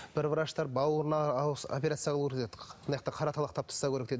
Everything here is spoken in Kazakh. бір врачтар бауырына операция ауыр деді қара талақты алып тастау керек деді